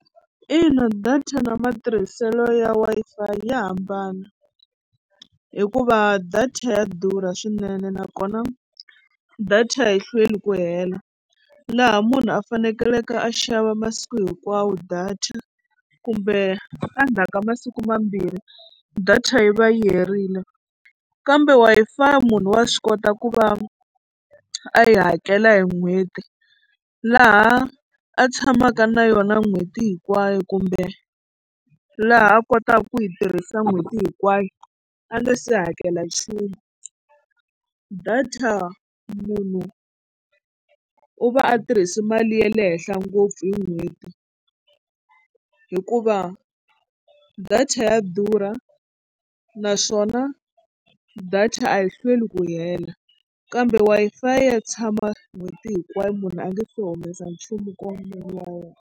Ina data na matirhiselo ya Wi-Fi ya hambana hikuva data ya durha swinene nakona data yi hlweli ku hela laha munhu a fanekeleke a xava masiku hinkwawo data kumbe endzhaku ka masiku mambirhi data yi va yi herile kambe Wi-Fi munhu wa swi kota ku va a yi hakela hi n'hweti laha a tshamaka na yona n'hweti hinkwayo kumbe laha a kotaka ku yi tirhisa n'hweti hinkwayo a nga se hakela nchumu. Data munhu u va a tirhisi mali ya le henhla ngopfu hi n'hweti hikuva data ya durha naswona data a yi hlweli ku hela kambe Wi-Fi ya tshama n'hweti hinkwayo munhu a nga se humesa nchumu nkwameni wa yena.